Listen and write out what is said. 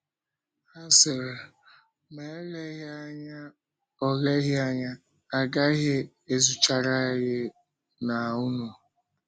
Ha sịrị: “Ma eleghị anya ọ eleghị anya ọ gaghị ezuchara anyị na unu.”